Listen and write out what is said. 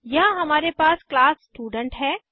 यहाँ हमारे पास क्लास स्टूडेंट है